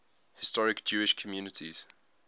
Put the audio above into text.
historic jewish communities